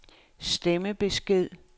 stemmebesked